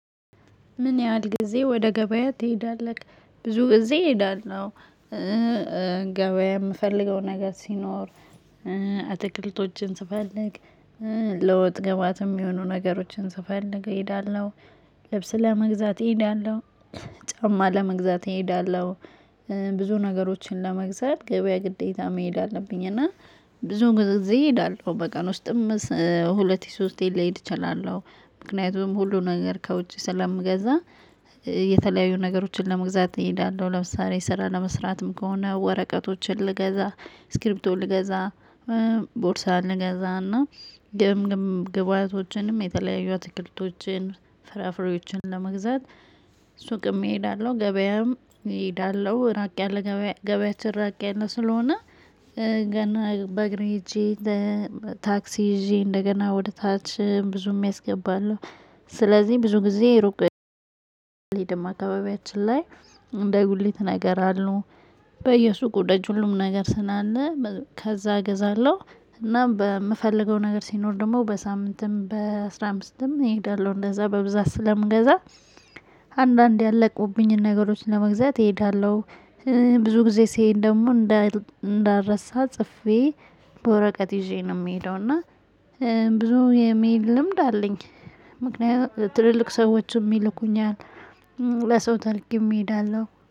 ምን ያህል ጊዜ ወደ ገበያ ትሄዳለህ? ብዙ ጊዜ እሄዳለሁ። ገበያ የምፈልገው ነገር ሲኖር አትክልቶችን ስፈልግ ለወጥ ገባትም የሚሆኑ ነገሮችን ስፈልግ እሄዳለሁ። ልብስ ለመግዛት እሄዳለሁ። ጫማ ለመግዛት እሄዳለሁ። ብዙ ነገሮችን ለመግዛት ገበያ ግዴታ መሄድ አለብኝ እና ብዙ ጊዜ እሄዳለሁ በቀን ውስጥም ሁለት ሶስቴን ልሄድ እችላለሁ። ምክንያቱም ሁሉ ነገር ከውጪ ስለምገዛ። የተለያዩ ነገሮችን ለመግዛት እሄዳለሁ ለምሳሌ ስራ ለመስራትም ከሆነ ወረቀቶችን ልገዛ ስክሪፕቶችን ልገዛ። ቦርሳውን ልገዛ እና ግምግም ግብአቶችንም የተለያዩ ትክክለቶችን ፍራፍሬዎችን ለመግዛት ሱቅም እሄዳለሁ ገበያም እሄዳለሁ። ራቅ ያለ ገበያችን ራቅ ያለ ስለሆነ። ገና በእግሬ ሄጄ ታክሲ ይዤ እንደገና ወደ ታች ብዙም ያስገባሉ። ስለዚህ ብዙ ጊዜ ሩቅ ሄደም አካባቢያችን ላይ እንደ ጉድሌት ነገር አሉ በየሱ ጉድሌት ሁሉም ነገር ስናለ ከዛ እገዛለሁ። እና በምፈልገው ነገር ሲኖር ደግሞ በሳምንትም በአሥራ አምስትም እሄዳለሁ እንደዛ በብዛት ስለምገዛ። አንዳንድ ያለቁብኝን ነገሮችን ለመግዛት እሄዳለሁ። ብዙ ጊዜ ሲሄድ ደግሞ እንዳልረሳ ጽፌ በወረቀት ይዤ ነው የምሄደው። እና ብዙ የመሄድ ልምድ አለኝ። ምክንያቱም ትልልቅ ሰዎችም ይልኩኛል። ለሰው ታልክም እሄዳለሁ